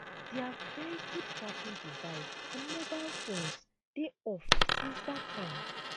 dia vehicle tracking device and mobile phones dey off since dat time